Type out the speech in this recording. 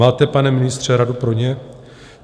Máte, pane ministře, radu pro ně?